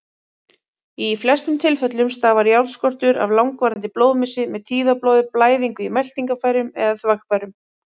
Í flestum tilfellum stafar járnskortur af langvarandi blóðmissi, með tíðablóði, blæðingu í meltingarfærum eða þvagfærum.